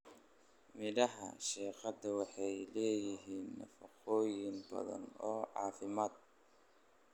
Midhaha shiiqada waxay leeyihiin nafaqooyin badan oo caafimaad.